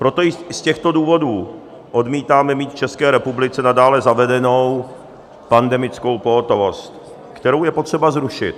Proto i z těchto důvodů odmítáme mít v České republice nadále zavedenou pandemickou pohotovost, kterou je potřeba zrušit.